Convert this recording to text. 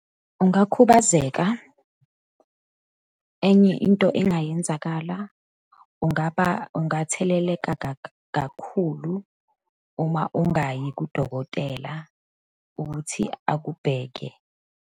Ungakhubazeka. Enye into engayenzakala, ungaba, angatheleleka kakhulu uma ungayi kudokotela ukuthi akubheke.